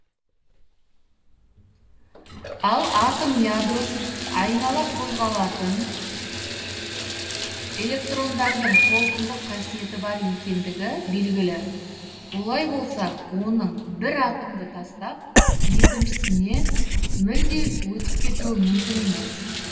ал атом ядросын айнала қозғалатын электрондардың толкындық қасиеті бар екендігі белгілі олай болса оның бір атомды тастап екіншісіне мүлде өтіп кетуі мүмкін емес